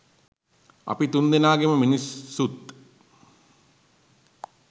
අපි තුන්දෙනාගෙම මිනිස්සුත්